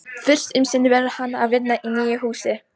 Fyrst um sinn verður hann að vinna í nýja húsinu.